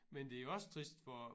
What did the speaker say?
Men det er også trist for